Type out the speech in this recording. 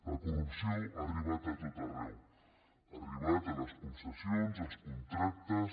la corrupció ha arribat a tot arreu ha arribat a les concessions als contractes